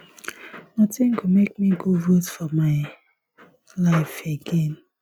nothing go make me go vote for my for my life again